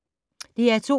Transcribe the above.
DR2